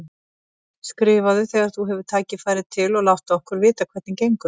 Skrifaðu þegar þú hefur tækifæri til og láttu okkur vita hvernig gengur.